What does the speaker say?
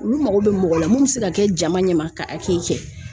Olu mago bɛ mɔgɔ la mun bɛ se ka kɛ jama ɲɛma ka kɛ